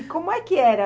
E como é que era?